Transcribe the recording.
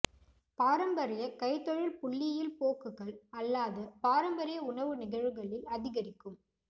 பாரம்பரிய கைத்தொழில் புள்ளியில் போக்குகள் அல்லாத பாரம்பரிய உணவு நிகழ்வுகளில் அதிகரிக்கும்